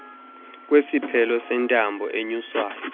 kwesiphelo sentambo enyuswayo